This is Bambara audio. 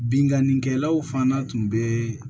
Binnkannikɛlaw fana tun bɛ